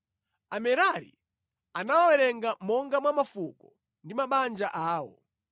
Amerari anawawerenga monga mwa mafuko ndi mabanja awo.